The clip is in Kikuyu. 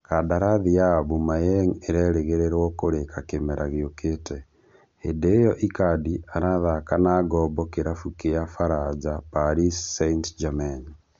Kandarathi ya Aubemayang ĩrerĩgĩrĩrwo kũrĩka kĩmera gĩũkĩte, hĩndĩ ĩyo Icardi arathaka na ngombo kĩrabu kĩa Faranja Paris St-Germain